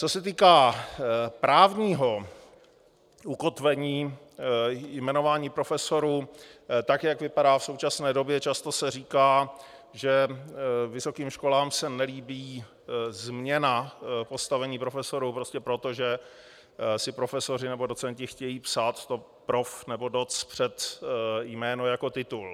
Co se týká právního ukotvení jmenování profesorů, tak jak vypadá v současné době, často se říká, že vysokým školám se nelíbí změna postavení profesorů prostě proto, že si profesoři nebo docenti chtějí psát to prof. nebo doc. před jméno jako titul.